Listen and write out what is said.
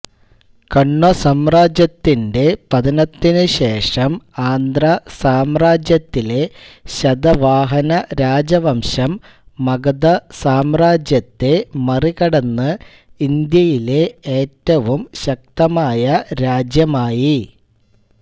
കണ്വ സാമ്രാജ്യത്തിന്റെ പതനത്തിനു ശേഷം ആന്ധ്രാ സാമ്രാജ്യത്തിലെ ശതവാഹന രാജവംശം മഗധ സാമ്രാജ്യത്തെ മറികടന്ന് ഇന്ത്യയിലെ ഏറ്റവും ശക്തമായ രാജ്യമായി